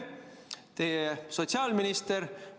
Kas teie või teie sotsiaalminister?